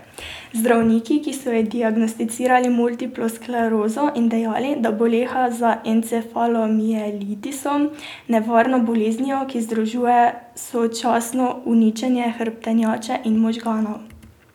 Zdravniki so ji diagnosticirali multiplo sklerozo in dejali, da boleha za encefalomielitisom, nevarno boleznijo, ki združuje sočasno uničenje hrbtenjače in možganov.